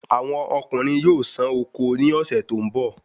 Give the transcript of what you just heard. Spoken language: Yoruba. Awọn ọkunrin yóò sán oko ni ọ̀sẹ̀ tó ń bọ̀